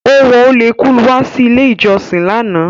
Ó wọ ólekú wá sí ilé ìjọsìn lánàá.